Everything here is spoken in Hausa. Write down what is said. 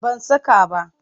Ban saka ba.